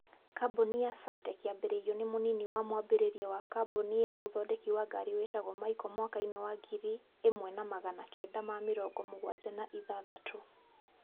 kambuni ya saartec yambĩrĩrio ni munini wa mwambĩrĩria wa kambuni ya uthondeki wa ngari witagwo michael mwaka-inĩ wa ngiri imwe na magana kenda ma mĩrongo mũgwanja na ithathatũ